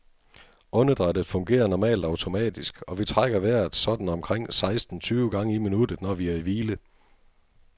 Åndedrættet fungerer normalt automatisk, og vi trækker vejret sådan omkring seksten tyve gange i minuttet, når vi er i hvile.